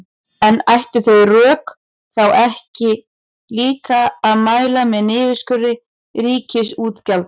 En ættu þau rök þá ekki líka að mæla með niðurskurði ríkisútgjalda?